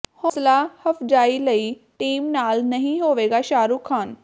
ਹੌਸਲਾ ਅਫਜਾਈ ਲਈ ਟੀਮ ਨਾਲ ਨਹੀਂ ਹੋਵੇਗਾ ਸ਼ਾਹਰੁਖ ਖ਼ਾਨ